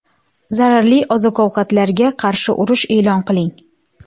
Zararli oziq-ovqatlarga qarshi urush e’lon qiling!